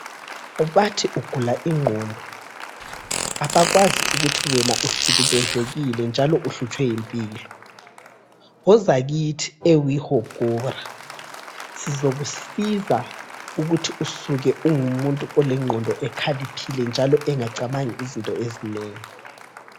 Bathi ugula inqondo abakwazi ukuthi wena uhlukumezekile njalo uhlutshwe yimpilo. Woza kithi eWIHOGORA sizakusiza ukuthi usuke ungumuntu olenqondo ekhalipheleyo njalo engacabangi izinto ezinengi.